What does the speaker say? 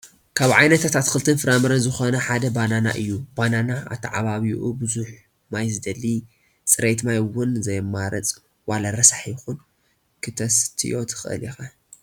ካብ ዓይነታት ኣትክልትን ፍራምረን ዝኾነ ሓደ ባናና እዩ፡፡ ባናና ኣታዓባብዩኡ ብዙሕ ማይ ዝደሊ፣ ፅሬት ማይ ውን ዘየማርፅ ዋላ ረሳሕ ይኹን ክተስትዮ ትኽእል ኢኻ፡፡